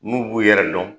N'u b'u yɛrɛ dɔn